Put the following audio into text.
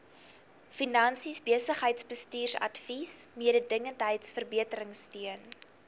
finansies besigheidsbestuursadvies mededingendheidsverbeteringsteun